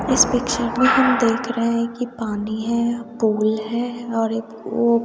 इस पिक्चर में हम देख रहे हैं कि पानी है पूल है और एक वो--